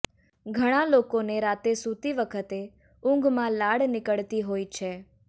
ઘણાં લોકોને રાતે સૂતી વખતે ઊંઘમાં લાળ નીકળતી હોય છે